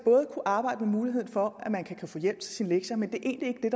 kunne arbejde med muligheden for at man kan få hjælp til sin lektier men det er egentlig ikke